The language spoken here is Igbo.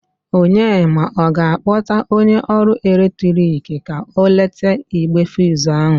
Onyema, ọ ga-akpọta onye ọrụ eletrik ka o lete igbe fuz ahụ?